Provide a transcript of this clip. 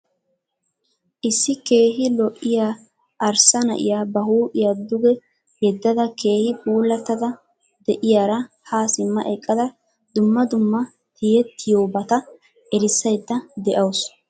Issi keehi lo'iya arssa na'iya ba huuphiya duge yedada keehi puulattada di'iyaara ha simma eqqada dumma dumma tiyettiyoobata erissayidda de'awusu.